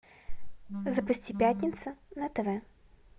запусти пятница на тв